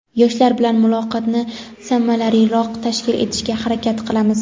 yoshlar bilan muloqotni samaraliroq tashkil etishga harakat qilamiz.